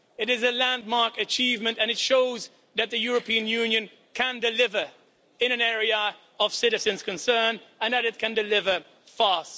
This is a landmark achievement and it shows that the European Union can deliver in an area of citizens' concern and that it can deliver fast.